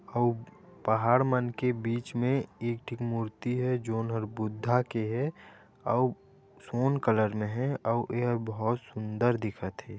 आऊ पहाड़ मन के बीच मे एक ठीक मूर्ति हे जो नर बुद्धहा के हे आऊ सोन कलर मे हेआऊ ए बोहुत सुंदर दिखत हे।